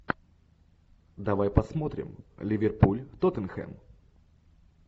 давай посмотрим ливерпуль тоттенхэм